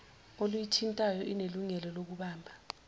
oluyithintayo inelungelo lokubamba